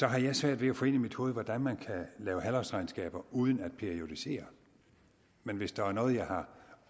jeg svært ved at få ind i mit hoved hvordan man kan lave halvårsregnskaber uden at periodisere men hvis der er noget jeg har